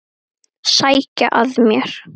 Sækja að mér.